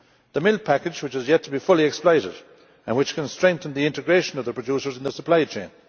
the milk package, which is yet to be fully exploited, and which can strengthen the integration of the producers in the supply chain